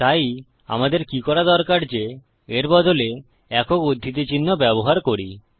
তাই আমাদের কি করা দরকার যে এর বদলে একক উদ্ধৃতি চিহ্ন ব্যবহার করি